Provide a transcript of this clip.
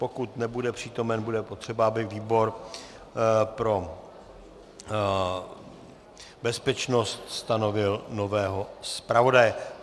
Pokud nebude přítomen, bude potřeba, aby výbor pro bezpečnost stanovil nového zpravodaje.